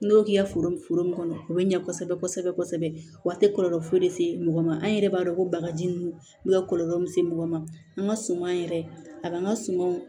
N'i y'o k'i ka foro mun kɔnɔ o be ɲɛ kosɛbɛ kosɛbɛ kosɛbɛ a te kɔlɔlɔ foyi lase mɔgɔ ma an yɛrɛ b'a dɔn ko bagaji nunnu n'u ka kɔlɔlɔ misɛn mɔgɔ ma an ŋa suma yɛrɛ a kan an ka sumanw